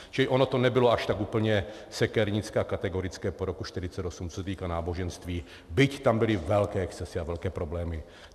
Čili ono to nebylo až tak úplně sekernické a kategorické po roku 1948, co se týká náboženství, byť tam byly velké excesy a velké problémy.